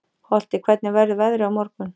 Holti, hvernig verður veðrið á morgun?